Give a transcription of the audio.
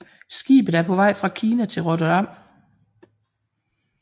Skibet er på vej fra Kina til Rotterdam